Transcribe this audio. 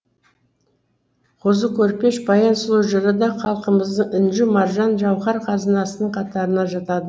қозы көрпеш баян сұлу жыры да халқымыздың інжу маржаны жауһар қазынасының қатарына жатады